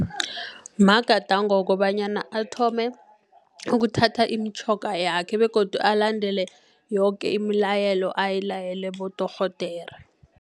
Magadango wokobanyana athome ukuthatha imitjhoga yakhe begodu alandele yoke imilayelo ayilayelwe bodorhodere.